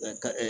Ɛɛ ka